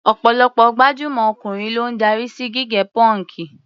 Ọ̀pọ̀lọpọ̀ gbajúmọ̀ ọkùnrin ló ń darí sí gígẹ pọ́ǹkì.